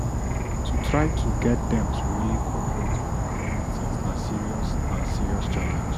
to try to get dem to really cooperate on economic things na serious na serious challenge